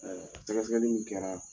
Ɛ sɛgɛsɛli min kɛra